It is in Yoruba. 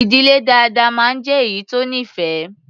Ì̀dílé dáadáa máa ń jé èyí tó nífẹ̀ẹ́.